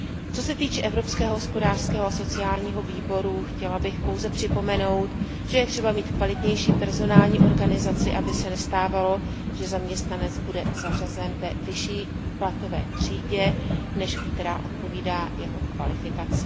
Co se týče Evropského hospodářského a sociálního výboru, chtěla bych pouze připomenout, že je třeba mít kvalitnější personální organizaci, aby se nestávalo, že zaměstnanec bude zařazen ve vyšší platové třídě, než která odpovídá jeho kvalifikaci.